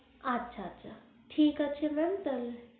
আচ্ছা আচ্ছা ঠিক আছে mam তালে